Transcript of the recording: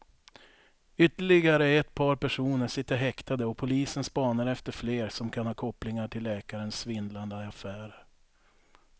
Ytterligare ett par personer sitter häktade och polisen spanar efter fler som kan ha kopplingar till läkarens svindlande affärer.